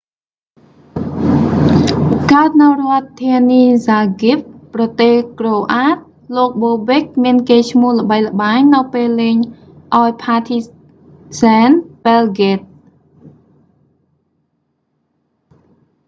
កើតនៅរដ្ឋធានីហ្សាហ្គ្រិប zagreb ប្រទេសក្រូអាត croatia លោកបូបិក bobek មានកេរ្តិ៍ឈ្មោះល្បីល្បាញនៅពេលលេងឱ្យផាធីហ្ស៊ែន ប៊ែលហ្គ្រេត partizan belgrade